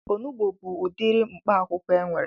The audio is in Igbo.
Onugbu bụ udiri mkpaakwụkwọ enwere